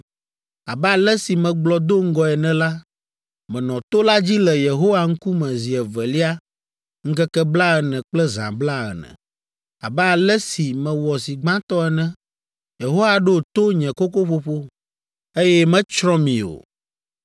Abe ale si megblɔ do ŋgɔe ene la, menɔ to la dzi le Yehowa ŋkume zi evelia ŋkeke blaene kple zã blaene, abe ale si mewɔ zi gbãtɔ ene. Yehowa ɖo to nye kokoƒoƒo, eye metsrɔ̃ mi o.